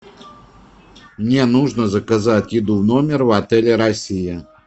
мне нужно заказать еду в номер в отеле россия